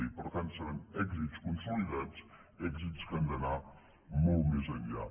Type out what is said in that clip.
i per tant seran èxits consolidats èxits que han d’anar molt més enllà